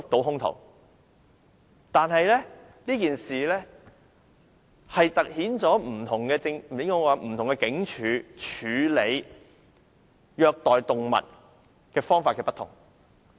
然而，這件事凸顯不同警署處理虐待動物案方法不同。